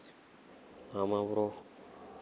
ஆமா bro